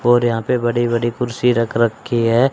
और यहां पे बड़ी बड़ी कुर्सी रख रखी है।